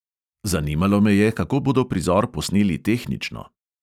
Zanimalo me je, kako bodo prizor posneli tehnično.